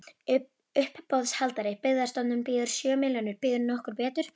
Uppboðshaldari: Byggðastofnun býður sjö milljónir, býður nokkur betur?